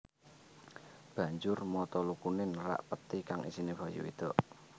Banjur mata lukune nerak pethi kang isine bayi wedok